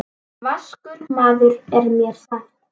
Vaskur maður er mér sagt.